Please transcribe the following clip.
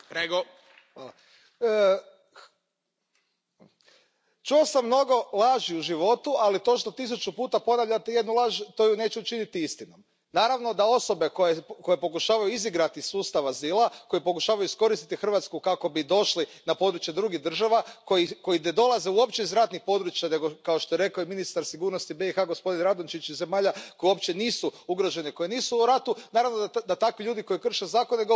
Poštovani predsjedavajući, čuo sam mnogo laži u životu, ali to što tisuću puta ponavljate jednu laž to ju neće učiniti istinom. Naravno da osobe koje pokušavaju izigrati sustav azila, koje pokušavaju iskoristiti Hrvatsku kako bi došli na područje drugih država, koji ne dolaze uopće iz ratnih područja nego kao što je rekao i ministar sigurnosti BiH gospodin Radončić, iz zemalja koje uopće nisu ugrožene, koje nisu u ratu, naravno da takvi ljudi koji krše zakone govore